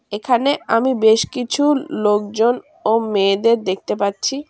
এখানে আমি বেশ কিছু লোকজন ও মেয়েদের দেখতে পাচ্ছি।